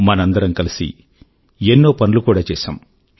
మనందరమూ కలిసి ఎన్నో పనులు కూడా చేశాము